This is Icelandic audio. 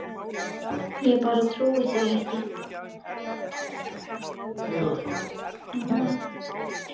Ég bara trúi því ekki.